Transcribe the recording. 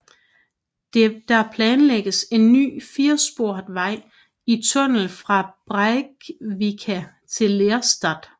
Der planlægges en ny firesporet vej i tunnel fra Breivika til Lerstad